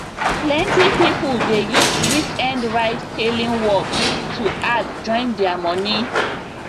plenty people dey use weekend ride hailing work to add join their money